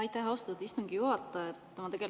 Aitäh, austatud istungi juhataja!